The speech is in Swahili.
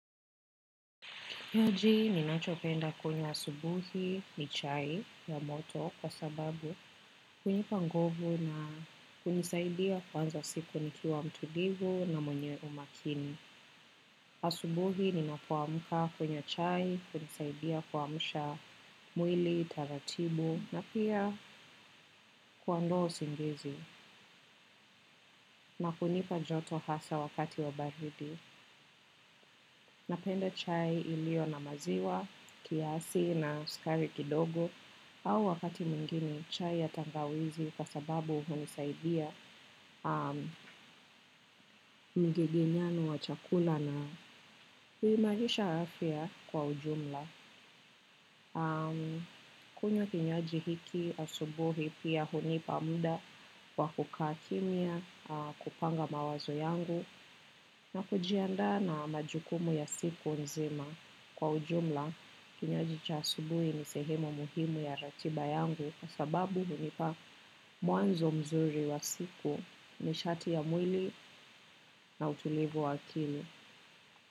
Uji ninachopenda kwenye asubuhi ni chai ya moto kwa sababu hunipa nguvu na hunisaidia kuanza siku nikiwa mtulivu na mwenye umakini. Asubuhi ninapoamuka kunywa chai hunisaidia kuamusha mwili, taratibu na pia kuondoa usingizi na kunipa joto hasa wakati wa baridi. Napenda chai iliyo na maziwa, kiasi na sukari kidogo au wakati mwingine chai ya tangawizi kwa sababuhunisaidia mgegenyano wa chakula na huimarisha afya kwa ujumla. Kunywa kinywaji hiki asubuhi pia hunipa muda wa kukaa kimya kupanga mawazo yangu. Na kujiandaa na majukumu ya siku nzima kwa ujumla kinywaji cha asubuhi ni sehemu muhimu ya ratiba yangu. Kwa sababu hunipa mwanzo mzuri wa siku ni shati ya mwili na utulivu wa akili.